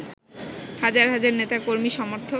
হাজার হাজার নেতা-কর্মী-সমর্থক